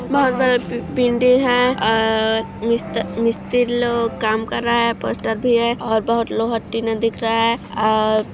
और बहुत बड़ा बि बिल्डिंग है अ और मिस्त मिस्त्री लोग काम कर रहा है पोस्टर भी है और बहुत लोहा टीना भी दिख रहा है आ--